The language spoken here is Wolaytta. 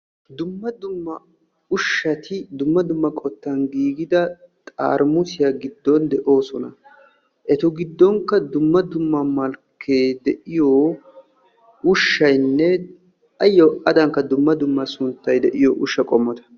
Dumma dumma ushshati dumma dumma qottan giigida xaaramussiya giddon de'oosona. Ettu gidonkka dumma dumma malkee de'iyo ushaynne ayo adankka dumma dumma sunttay de'iyo ushsha qommotta.